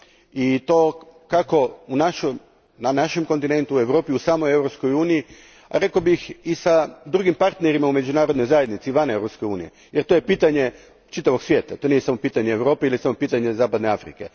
I to kako na našem kontinentu, u Europi, u samoj Europskoj uniji, rekao bih i sa drugim partnerima u međunarodnoj zajednici van Europske unije jer to je pitanje čitavog svijeta, to nije samo pitanje Europe ili samo pitanje zapadne Afrike.